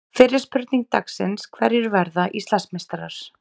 Fyrri spurning dagsins: Hverjir verða Íslandsmeistarar?